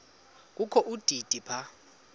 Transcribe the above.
kokho udidi phaka